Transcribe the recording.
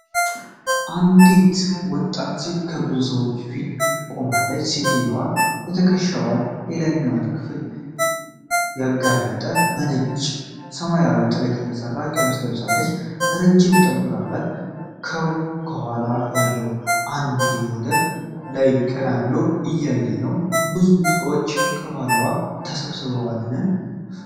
አንዲት ወጣት ሴት ከብዙ ሰዎች ፊት ቆማለች። ሴትየዋ የትከሻዋን የላይኛው ክፍል ያጋለጠ፣ በነጭና ሰማያዊ ጥለት የተሠራ ቀሚስ ለብሳለች። ረጅም ጠጉር አላት። ከጎኗ ያለ አንድ ልጅ ወደ ላይ ቀና ብሎ እያያት ነው። ብዙ ሰዎች ከኋላዋ ተሰብስበዋልን?